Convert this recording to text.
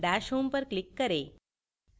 dash home पर click करें